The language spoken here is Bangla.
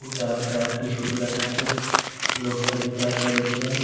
ও তারপরে আর একটি ছোটু রাখা আছে লোকটা জুতা পড়েছে-এ--